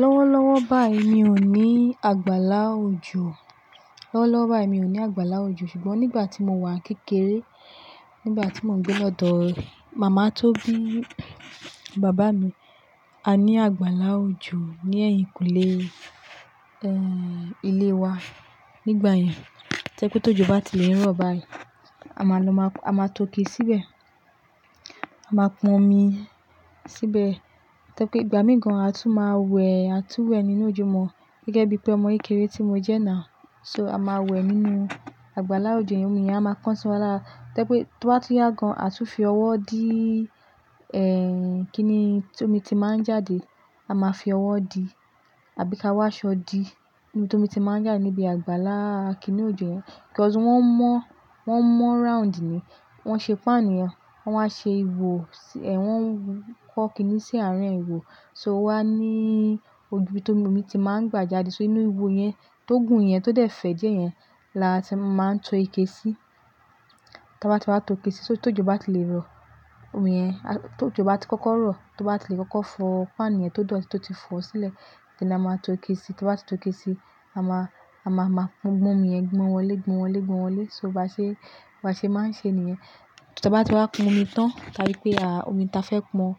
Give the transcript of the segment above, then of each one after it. Lọ́wọ́lọ́wọ́ báyìí mi ò ní àgbàlá òjò. Lọ́wọ́lọ́wọ́ báyìí mi ò ní àgbàlá òjò, ṣùgbọ́n nígbà tí mo wà kékeré, nígbà tí mò ń gbé lọ́dọ̀ màmá tó bí bàbá mi, a ní àgbàlá òjò ní ẹ̀yìnkùlé, ẹ́, ilé wa nígbà yẹn. To je pe tójọ ba tí lè rọ̀ báyìí, a máa lọ máa, a máa tóke síbẹ̀, a máa pọn omi síbẹ̀. To je pé ìgbà míì gan-an a tún máa wẹ̀, a tún wẹ̀ nínú òjò mọ́ gẹ́gẹ́ bí pé ọmọ kéré tí mo jẹ́ ná. So a máa wẹ̀ nínú àgbàlá òjò yẹn, omi yẹn a máa kan siwa lara To je pé tí o bá tun yá gan-an, a tún fi ọwọ́ dí, ẹ́, kíni tí omi ti máa ń jáde, a máa fi ọwọ́ dí àbí ka wá ṣọ di ibi tí omi ti máa ń jáde níbi àgbàlá kíni òjò yẹn. Kos wọ́n mọ́, wọ́n mọ́ round ni, wọ́n ṣe pan yẹn, wọ́n wá ṣe ìwò, ẹ̀, wọ́n wọ́ kiní sí àárín ìwò. So wá ní oju ibi tí omi ti máa ń gbà jáde, so inú ìwò yẹn tó gùn yẹn, tó dẹ̀ fẹ̀ die yẹn la ti máa ń to ike sí. Tí a bá ti wá to ike sí, so tójọ ba tí lè rọ̀, omi yen tó jọba tí kọ́kọ́ rọ̀, tó bá ti lè kọ́kọ́ fọ pan yẹn tó dọ̀, tí ó ti fọ̀ sílẹ̀, ni a máa to ike sí. Tí a bá ti tó ike sí, a máa, a máa pon omi yẹn gbọ̀n wọlé, gbọ̀n wọlé, gbọ̀n wọlé. So bá ṣe, bá ṣe máa ń ṣe ni yen Tí a bá ti wá pon omi tán, ta ri pé, à, omi tí a fẹ́ pọn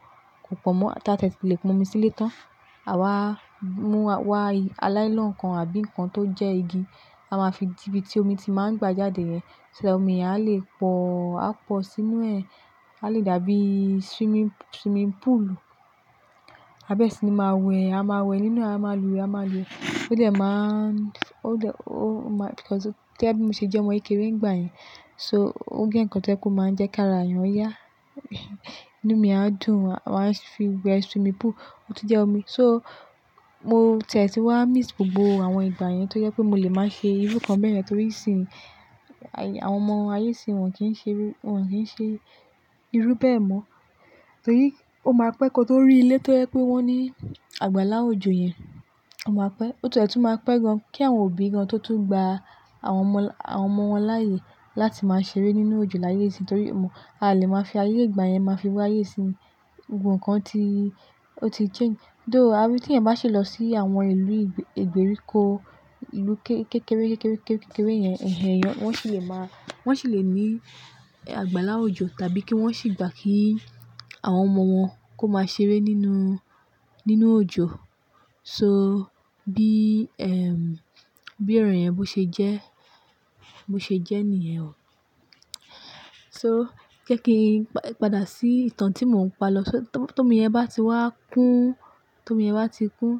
kò po mọ́, tá tie ti lè pon omi sílé tán, à wá mú wá lailon kan àbí nǹkan tó jẹ́ igi, a máa fi dí ibi tí omi ti máa ń gbà jáde yen So that omi yẹn á lè pọ̀, á pọ̀ sínú ẹ̀, á lè dàbí swimming, swimming pool. Àbẹ́ẹ̀ sì ni máa wẹ̀, a máa wẹ̀ nínú, a máa lùwẹ̀, a máa lùwẹ̀. Ó dẹ̀ máa ń, ó dẹ̀, ó máa-- kí ọ́ sọ, tí ẹ́ bí mo ṣe jẹ́ ọmọ ìkéré nígbà yẹn, so ó gé ǹkan tí ẹ́ kú máa ń jẹ́ kára èèyàn. Ọ́ yá, inú mi á dùn, wàá fi wẹ̀ swimming pool, ó tún jẹ́ omi. So mo tie ti wá miss gbogbo àwọn ìgbà yẹn tó jẹ́ pé mi o lè máa ṣe irú kan bẹ́ yen rẹ torí sìn, àwọn ọmọ ayé sì wọ́n kì í ṣe irú, wọ́n kì í ṣe irú bẹ́ẹ̀ mọ́. Torí ó máa pẹ́ kó tó rí ilé tó jẹ́ pé wọ́n ní àgbàlá òjò yẹn, ó máa pẹ́. Ó ti e tún máa pẹ́ gan-an kí àwọn òbí gan-an tó tún gba àwọn ọmọ, àwọn ọmọ wọn láàyè láti máa ṣeré nínú òjò láyé sí torí ò mọ̀, a lè máa fi ayé ìgbà yẹn máa fi wá ayé sì ni. Gbogbo ǹkan ti, ó ti change. Though a fi tí ẹ̀yan ba ṣe lọ sí àwọn ìlú ìgbèríko, ìlú kékeré, kékeré, kékeré yẹn, ẹ̀hen yẹn wọ́n sì lè máa, wọ́n sì lè ní àgbàlá òjò tàbí kí wọ́n sì gbà kí àwọn ọmọ wọn kó máa ṣeré nínú, nínú òjò. So bí, ẹ́m, bí ẹ̀rọ yẹn bá ṣe jẹ́, bó ṣe jẹ́ nìyẹn ò. So jẹ́ kí n pàdà sí ìtàn tí mò ń pa lọ. So tó, tó mi yẹn bá ti wá kún, tó mi yẹn bá ti kún,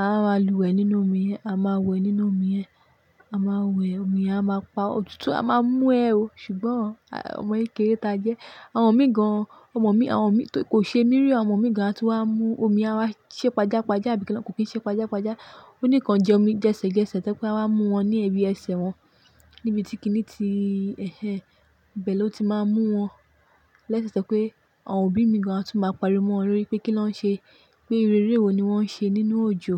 a máa lùwẹ̀ nínú omi yẹn, a máa wẹ̀ nínú omi yẹn. A máa wẹ̀, omi yẹn á máa pa-- òtútù a máa mú ẹ o, ṣùgbọ́n ọmọ kéré ta jẹ́. Àwọn ọmọ mìí gan-an, àwọn ọmọ mi, àwọn ọmọ mi tó kò ṣe mí rí, àwọn ọmọ mìí gan-an a tún wá mú omi, a wá ṣé pàjá pàjá àbí kí lẹ kò kín ṣe pàjá pàjá. Ó níkan jẹ omi jẹsẹ jẹsẹ tẹ́ pé a wá mú wọn ní ibi ẹsẹ̀ wọn, níbi tí kiní ti, ẹ̀hen, bẹ̀ ló ti máa ń mú wọn. Lẹ́sẹ̀ ṣẹ tẹ́ pé àwọn òbí mìí gan-an a tún máa pariwo mọ́ wọn lórí pé kí lọ́ ń ṣe, pé eré wo ni wọ́n ń ṣe nínú òjò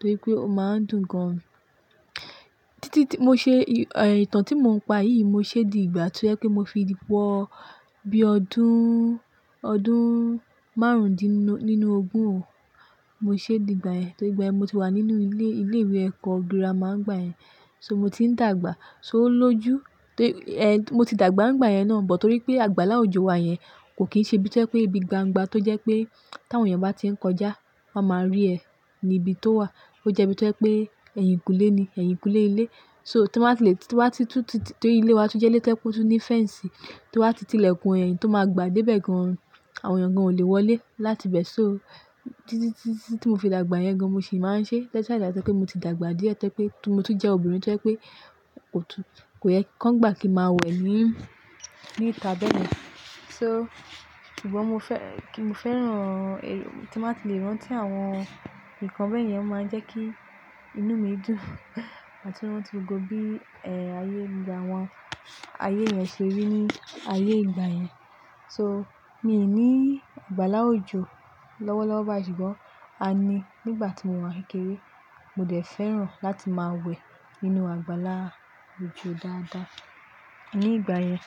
torí pé ó máa ń dùn gan-an. Títí tí mo ṣe, ẹ̀, ìtàn tí mò ń pa yìí mo ṣe di ìgbà tó jẹ́ pé mo fi ìdí pọ̀ bí ọdún, ọdún márùndínlógún o mo ṣe di ìgbà yẹn. Torí ìgbà yẹn mo ti wà nínú ilé, ilé ìwé ẹ̀kọ́ gírámà ńgbà yẹn, so mo ti ń dàgbà. So ó lójú, torí, ẹ́, mo ti dàgbà ńgbà yẹn náà bọ̀ torí pé àgbàlá òjò wa yẹn kò kín ṣe ibi tó jẹ́ pé ibi gbangba tó jẹ́ pé tí àwọn èèyàn bá ti ń kọjá wọ́n máa rí ẹ ní ibi tó wà. Ó jẹ́ ibi tó jẹ́ pé ẹ̀yìnkùlé ni, ẹ̀yìnkùlé ilé. So tí wọ́n bá ti lè, tí wọ́n bá ti tú ti, torí ilé wa tún jẹ́ ilé tó ní fẹ́ǹsì, tí wọ́n bá ti tilẹ̀kùn ẹ̀yìn tó máa gbà dé ibẹ̀ gan-an, àwọn èèyàn gan-an ò lè wọlé láti ibẹ̀. So títí tí, tí mo fi dàgbà yẹn gan-an mo sì máa ń ṣe lẹ́sẹ̀ àì dà tẹ́ pé mo ti dàgbà díẹ̀ tẹ́ pé mo tún jẹ́ obìnrin tẹ́ pé kò tún, kò yẹ kí wọ́n gbà kí màá wẹ̀ ní, ní ìta bẹ́ẹ̀ yen So ṣùgbọ́n mo fẹ́, kí mo fẹ́ràn, tí màá ti lè rántí àwọn ǹkan bẹ́ẹ̀ yẹn, ó máa ń jẹ́ kí inú mi dùn àti lọ́ tún gbogbo bí, ẹ́, ayé ìgbà wọn, ayé yẹn ṣe rí ní ayé ìgbà yẹn. So mi ò ní àgbàlá òjò lọ́wọ́lọ́wọ́ báyìí ṣùgbọ́n a ní nígbà tí mo wà ni kékeré. Mo dẹ̀ fẹ́ràn láti máa wẹ̀ nínú àgbàlá òjò dáadáa ní ìgbà yẹn.